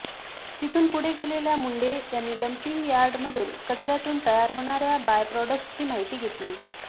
तिथून पुढे गेलेल्या मुंढे यांनी डम्पिंग यार्ड मधून कचऱ्यातून तयार होणाऱ्या बाय प्रॉडक्ट्सची माहिती घेतली